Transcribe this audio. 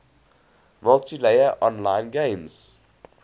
multiplayer online games